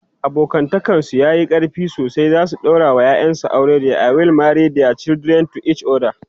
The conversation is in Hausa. abokantakan su yayi ƙarfi sosai zasu daura wa ƴaƴan su aure ,they will marry thier children to each other